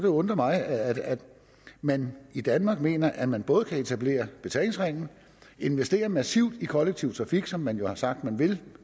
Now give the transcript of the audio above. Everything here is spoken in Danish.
undre mig at man i danmark mener at man både kan etablere betalingsringen investere massivt i kollektiv trafik som man jo har sagt man vil